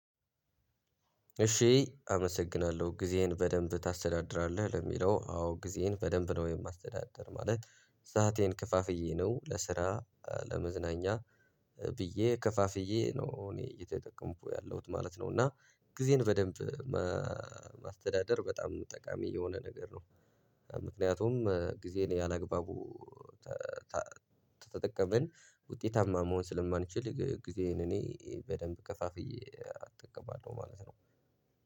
እሺ አመሰግናለሁ ጊዜህን በደንብ ታስተዳድራለህ ለሚለው አዎ ጊዜህን በደንብ ነው የማስተዳደር ማለት ሰአቴን ክፋፍዬ ነው ለስራ ለመዝናኛ ብዬ ክፋፍዬ ነው እኔ እየተጠቀምኩ ያለሁት ማለት ነው እና ጊዜን በደንብ ማስተዳደር በጣም ጠቃሚ የሆነ ነገር ነው። ምክንያቱም ጊዜን ያላግባቡ ተጠቀመን ውጤታማ መሆን ስለማንችል ጊዜዬን እኔ በደንብ ከፋፍዬ አጠቀማለሁ ማለት ነው።